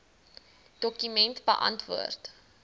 dokument beantwoord